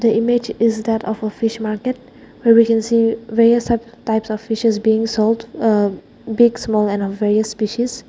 the image is that of a fish market here we can see various types of fishes being sold uh big small and a various species.